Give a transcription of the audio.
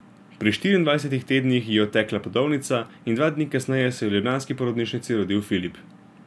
Pri štiriindvajsetih tednih ji je odtekla plodovnica in dva dni kasneje se je v ljubljanski porodnišnici rodil Filip.